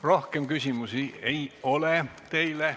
Rohkem küsimusi teile ei ole.